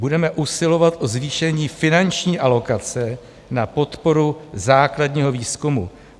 - Budeme usilovat o zvýšení finanční alokace na podporu základního výzkumu.